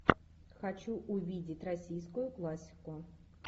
хочу увидеть российскую классику